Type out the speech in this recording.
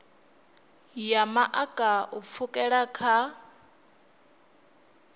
ya maḓaka u pfukela kha